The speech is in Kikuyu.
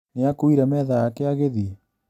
Nĩakuire metha yake agĩthiĩ?